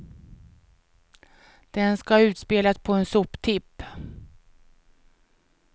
Den ska utspelas på en soptipp.